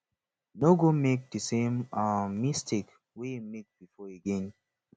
no go make di same um mistake wey you make before again